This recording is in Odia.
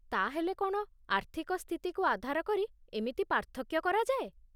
ତା'ହେଲେ କ'ଣ, ଆର୍ଥିକ ସ୍ଥିତିକୁ ଆଧାର କରି ଏମିତି ପାର୍ଥକ୍ୟ କରାଯାଏ?